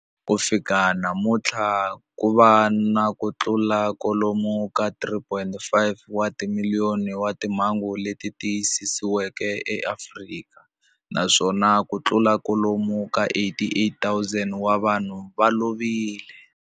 Ku fika namuntlha ku na kutlula kwalomu ka 3.5 wa timiliyoni wa timhangu leti tiyisisiweke eAfrika, naswona kutlula kwalomu ka 88,000 wa vanhu va lovile.